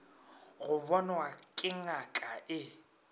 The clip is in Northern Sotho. go bonwa ke ngaka e